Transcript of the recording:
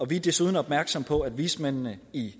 vi er desuden opmærksomme på at vismændene i